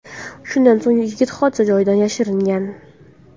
Shundan so‘ng yigit hodisa joyidan yashiringan.